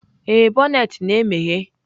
Ee, bonnet na-emeghe.